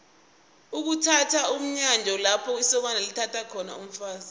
ukuthatha mnyanya lapho isokana lithatha khona umfazi